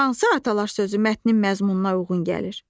Hansı atalar sözü mətnin məzmununa uyğun gəlir?